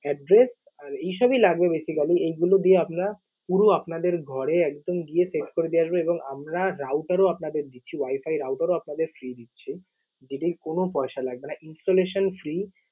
address আর এই সবই লাগবে basically । এইগুলো দিয়ে আমরা পুরো আপনাদের ঘরে একদম গিয়ে set করে দিয়ে আসব এবং আমরা router ও আপনাদের দিচ্ছি, wifi router ও আপনাদের free দিচ্ছি। যেটির কোনো পয়সা লাগবে না, installation free ।